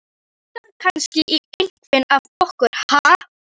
Þig langar kannski í einhvern af okkur, ha?